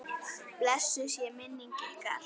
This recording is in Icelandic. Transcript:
Blessuð sé minning ykkar.